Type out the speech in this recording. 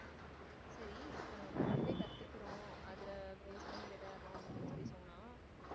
சரி இப்ப நம்ம கராத்தே கத்துக்கிறோம் அத base பண்ணி விளையாடுறோம் அப்படின்னு சொல்லி சொன்னா